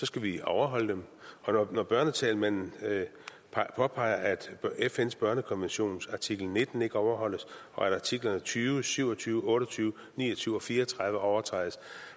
skal vi overholde dem når børnetalsmanden påpeger at fns børnekonventions artikel nitten ikke overholdes og at artiklerne tyve syv og tyve otte og tyve ni og tyve og fire og tredive overtrædes